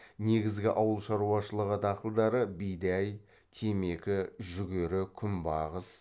негізгі ауыл шаруашылығы дақылдары бидай темекі жүгері күнбағыс